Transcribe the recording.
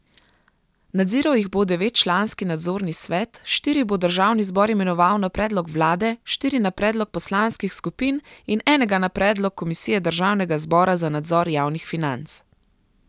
Nadziral jih bo devetčlanski nadzorni svet, štiri bo državni zbor imenoval na predlog vlade, štiri na predlog poslanskih skupin in enega na predlog komisije državnega zbora za nadzor javnih financ.